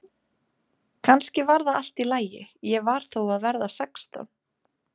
Kannski var það allt í lagi, ég var þó að verða sextán.